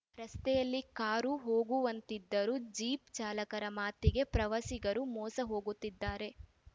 ರಸ್ತೆಯಲ್ಲಿ ಕಾರು ಹೋಗುವಂತಿದ್ದರೂ ಜೀಪ್‌ ಚಾಲಕರ ಮಾತಿಗೆ ಪ್ರವಾಸಿಗರು ಮೋಸ ಹೋಗುತ್ತಿದ್ದಾರೆ